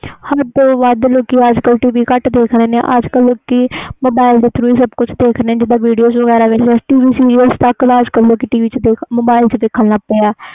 ਹੱਦ ਤੋਂ ਵਾਦ ਲੋਕੀ ਟੀ ਵੀ ਘੱਟ use ਕਰਦੇ ਅਜ ਕਲ ਲੋਕੀ mobile ਦੇ tharo ਦੇਖ ਦੇ ਜਿਵੇ video, tv show mobile ਵਿਚ ਦੇਖਣ ਲਗ ਗਏ ਆ